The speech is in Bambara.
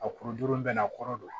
A kuruju bɛɛ n'a kɔrɔ don